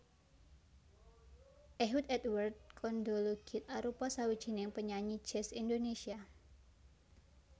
Ehud Edward Kondologit arupa sawijining penyanyi jazz Indonésia